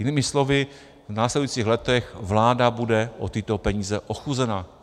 Jinými slovy, v následujících letech vláda bude o tyto peníze ochuzena.